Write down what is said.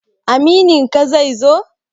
Amininka zai zo?